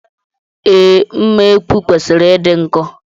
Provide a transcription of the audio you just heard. Ee, mma ekwu kwesịrị ịdị nkọ